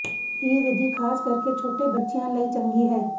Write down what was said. ਇਹ ਵਿਧੀ ਖ਼ਾਸ ਕਰਕੇ ਛੋਟੇ ਬੱਚਿਆਂ ਲਈ ਚੰਗੀ ਹੈ